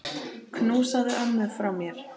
Knúsaðu ömmu frá mér.